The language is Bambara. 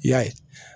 I y'a ye